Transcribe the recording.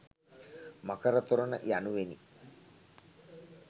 මකර තොරණ යනුවෙනි.